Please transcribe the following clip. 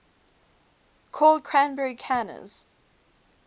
called cranberry canners